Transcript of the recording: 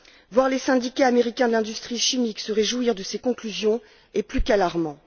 Voir les syndicats américains de l'industrie chimique se réjouir de ces conclusions est plus qu'alarmant.